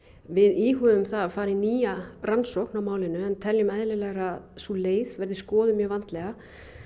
við íhuguðum að fara í nýja rannsókn á málinu en teljum eðlilegra að sú leið verði skoðuð mjög vandlega